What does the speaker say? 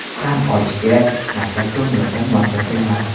Tan olish kerak, maktab ko‘ngilochar muassasa emas.